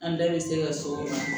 An da bɛ se ka sɔrɔ